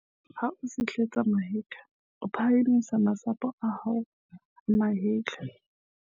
ha o sihletsa mahetla o phahamisa masapo a hao a mahetla